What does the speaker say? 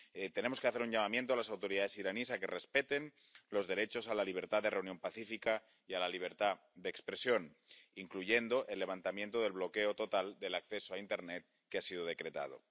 Tenemos que hacer un llamamiento a las autoridades iraníes a que respeten los derechos a la libertad de reunión pacífica y a la libertad de expresión, incluyendo el levantamiento del bloqueo total del acceso a internet que ha sido decretado.